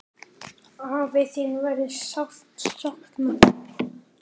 Afi, þín verður sárt saknað.